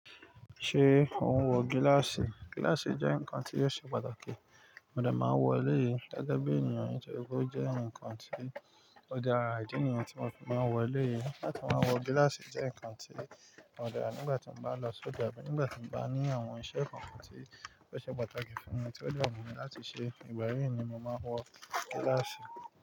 Ṣé ò ń wọ gíláàsì? Gíláàsì jẹ́ ǹkan tí ó ṣe pàtàkì. Mo dà máa wọ ilé yìí. Gẹ́gẹ́ bí ènìyàn tó rò ó jẹ́ ǹkan tí ó dára, ìdí nìyẹn tí mo fi máa wọ e lé yìí. Láti máa wọ gíláàsì jẹ́ ǹkan tí mo dà nígbà tí mo bá lọ sọ́ ja, nígbà tí mo bá ní àwọn iṣẹ́ kan tí ó ṣe pàtàkì fún mi tí ó dáhùn mi láti ṣe, ìgbà yí ni mo máa wọ gíláàsì.